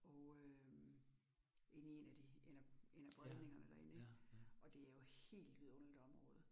Og øh inde i 1 af de 1 af 1 af bredningerne derinde ik, og det jo helt vidunderligt område